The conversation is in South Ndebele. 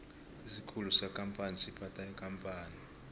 isikhulu sekampani siphatha ikampani